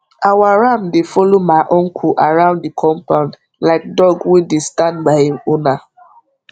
our ram dey follow ma uncle around the compound like dog wey dey stand by him owner